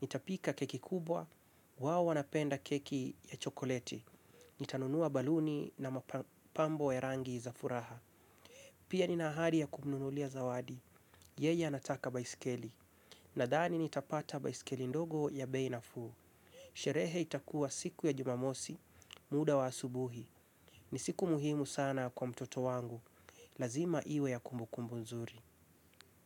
Nitapika keki kubwa, wao wanapenda keki ya chokoleti. Nitanunua baluni na mapambo ya rangi za furaha. Pia ni nahari ya kumnunulia zawadi. Yeye anataka baisikeli. Nadhani nitapata baisikeli ndogo ya bei nafuu. Sherehe itakuwa siku ya jumamosi, muda wa asubuhi. Ni siku muhimu sana kwa mtoto wangu. Lazima iwe ya kumbukumbu nzuri.